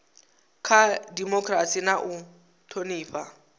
kha dimokirasi na u thonifha